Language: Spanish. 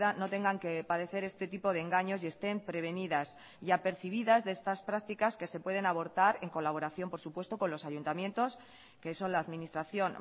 no tengan que padecer este tipo de engaños y estén prevenidas y apercibidas de estas prácticas que se pueden abortar en colaboración por supuesto con los ayuntamientos que son la administración